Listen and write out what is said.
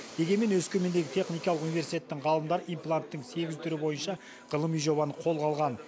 дегенмен өскемендегі техникалық университеттің ғалымдары импланттың сегіз түрі бойынша ғылыми жобаны қолға алған